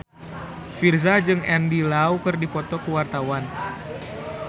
Virzha jeung Andy Lau keur dipoto ku wartawan